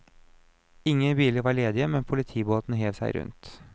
Ingen biler var ledige, men politibåten hev seg rundt.